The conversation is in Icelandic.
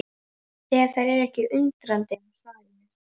Og þær eru ekkert undrandi á svarinu.